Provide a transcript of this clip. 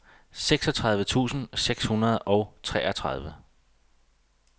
seksogtredive tusind seks hundrede og treogtredive